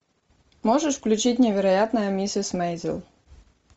можешь включить невероятная миссис мейзел